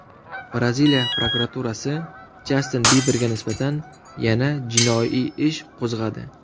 Braziliya prokuraturasi Jastin Biberga nisbatan yana jinoiy ish qo‘zg‘adi.